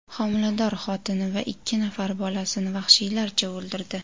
homilador xotini va ikki nafar bolasini vahshiylarcha o‘ldirdi.